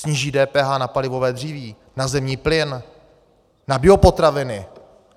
Sníží DPH na palivové dříví, na zemní plyn, na biopotraviny.